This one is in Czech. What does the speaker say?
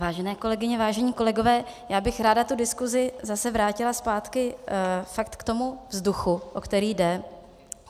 Vážené kolegyně, vážení kolegové, já bych ráda tu diskusi zase vrátila zpátky fakt k tomu vzduchu, o který jde.